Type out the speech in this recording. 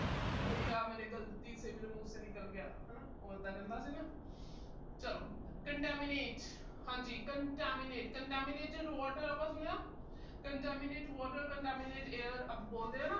ਬਈਆ, ਗਲਤੀ ਸੇ ਮੇਰੇ ਮੂੰਹ ਸੇ ਨਿਕਲ ਗਿਆ ਹਨਾ। ਉਹ ਇਦਾਂ ਕਹਿੰਦਾ ਸੀ ਨਾ। ਚਲੋ contaminate ਹਾਂਜੀ contaminate contaminated water ਆਪਾ ਸੁਣਿਆ। contaminate water contaminate air ਆਪਾ ਬੋਲਦੇ ਆ ਨਾ।